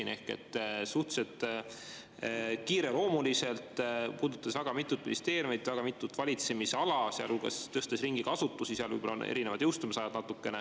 Aga suhteliselt kiireloomuliselt, puudutades väga mitut ministeeriumi, väga mitut valitsemisala, sealhulgas tõstes ringi ka asutusi, mille puhul võib-olla on natukene erinevad jõustumisajad.